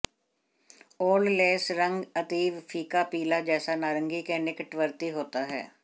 old lace रंग अतीव फीका पीला जैसा नारंगी के निकटवर्ती होता है